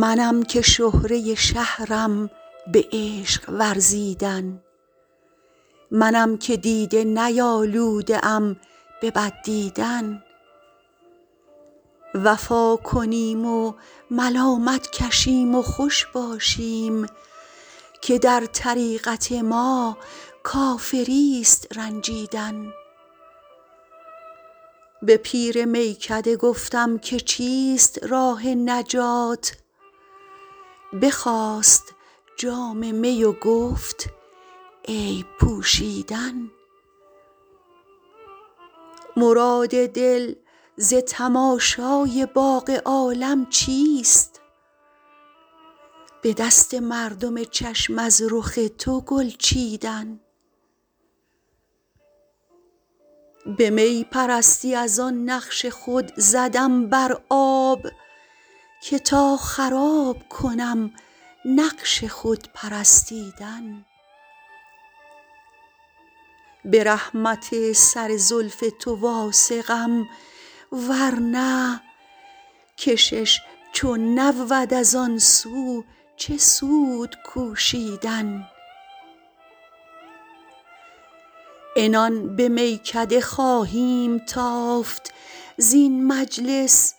منم که شهره شهرم به عشق ورزیدن منم که دیده نیالوده ام به بد دیدن وفا کنیم و ملامت کشیم و خوش باشیم که در طریقت ما کافریست رنجیدن به پیر میکده گفتم که چیست راه نجات بخواست جام می و گفت عیب پوشیدن مراد دل ز تماشای باغ عالم چیست به دست مردم چشم از رخ تو گل چیدن به می پرستی از آن نقش خود زدم بر آب که تا خراب کنم نقش خود پرستیدن به رحمت سر زلف تو واثقم ورنه کشش چو نبود از آن سو چه سود کوشیدن عنان به میکده خواهیم تافت زین مجلس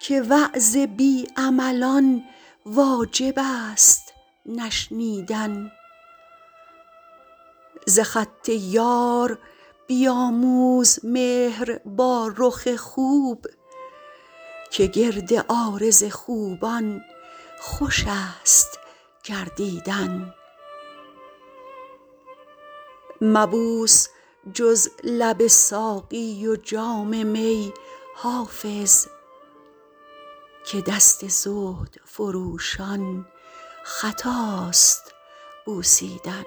که وعظ بی عملان واجب است نشنیدن ز خط یار بیاموز مهر با رخ خوب که گرد عارض خوبان خوش است گردیدن مبوس جز لب ساقی و جام می حافظ که دست زهد فروشان خطاست بوسیدن